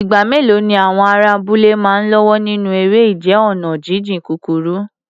Ìgbà mélòó ni àwọn ará abúlé máa ń lọ́wọ́ nínú eré ìje ọ̀nà jíjìn kúkúrú?